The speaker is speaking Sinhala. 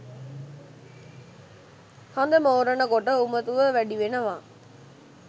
හඳ මෝරන කොට උමතුව වැඩිවෙනවා